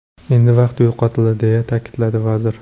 Endi vaqt yo‘qotildi”, deya ta’kidladi vazir.